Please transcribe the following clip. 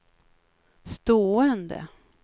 stående